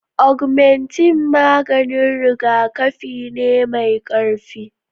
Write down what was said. Augmentine maganin rigakafi ne mai ƙarfi